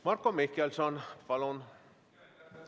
Marko Mihkelson, palun!